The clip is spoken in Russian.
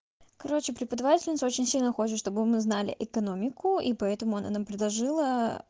короче преподавательница очень сильно хочешь чтобы мы знали экономику и поэтому она нам предложилаа